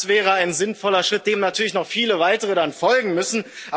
Das wäre ein sinnvoller Schritt, dem natürlich dann noch viele weitere folgen müssen.